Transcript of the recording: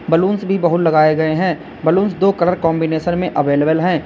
Balloons भी बहुत लगाए गए हैं। बलूंस दो कलर कॉन्बिनेशन में अवेलेबल है।